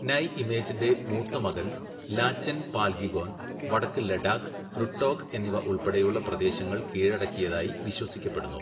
നൈഇമേജൻ്റെ മൂത്തമകൻ Lachen Palgyigon വടക്ക് Ladakh, Rutog എന്നിവ ഉൾപ്പടെയുള്ള പ്രദേശങ്ങൾ കീഴടക്കിയതായി വിശ്വസിക്കപ്പെടുന്നു.